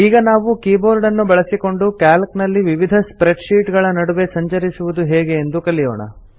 ಈಗ ನಾವು ಕೀಬೋರ್ಡ್ ಅನ್ನು ಬಳಸಿಕೊಂಡು ಕ್ಯಾಲ್ಕ್ ನಲ್ಲಿ ವಿವಿಧ ಸ್ಪ್ರೆಡ್ ಶೀಟ್ ಗಳ ನಡುವೆ ಸಂಚರಿಸುವುದು ಹೇಗೆ ಎಂದು ಕಲಿಯೋಣ